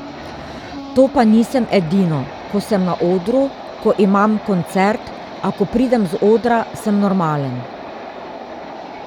To pa nisem edino, ko sem na odru, ko imam koncert, a ko pridem z odra, sem normalen.